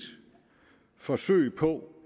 forsøg på